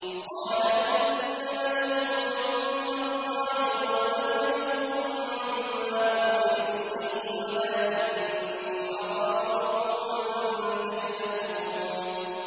قَالَ إِنَّمَا الْعِلْمُ عِندَ اللَّهِ وَأُبَلِّغُكُم مَّا أُرْسِلْتُ بِهِ وَلَٰكِنِّي أَرَاكُمْ قَوْمًا تَجْهَلُونَ